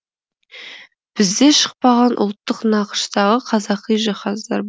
бізде шықпаған ұлттық нақыштағы қазақи жиһаздар